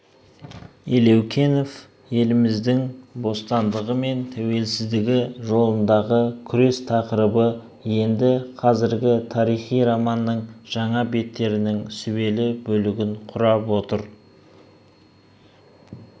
елеукенов еліміздің бостандығы мен тәуелсіздігі жолындағы күрес тақырыбы енді қазіргі тарихи романның жаңа беттерінің сүбелі бөлігін құрап отыр